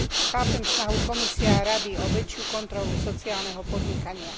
Chápem snahu Komisie a Rady o väčšiu kontrolu sociálneho podnikania.